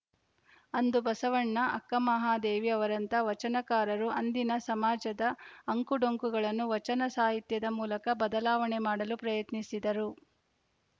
ಅಂದು ಬಸವಣ್ಣ ಅಕ್ಕಮಹಾದೇವಿ ಅವರಂಥ ವಚನಕಾರರು ಅಂದಿನ ಸಮಾಜದ ಅಂಕುಡೊಂಕುಗಳನ್ನು ವಚನ ಸಾಹಿತ್ಯದ ಮೂಲಕ ಬದಲಾವಣೆ ಮಾಡಲು ಪ್ರಯತ್ನಿಸಿದರು